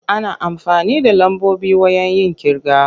Ana amfani da lambobi wayen yin ƙirga.